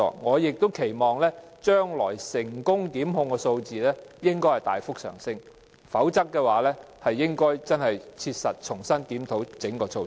我期望將來成功檢控的數字能夠大幅上升，否則，當局應該切實重新檢討整個措施。